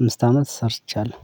አምስት አመት ሰርቻለሁ።